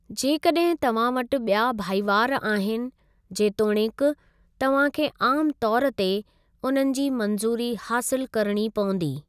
जेकॾहिं तव्हां वटि ॿिया भाईवार आहिनि, जेतोणीकि, तव्हां खे आमु तौरु ते उन्हनि जी मंज़ूरी हासिलु करिणी पवंदी।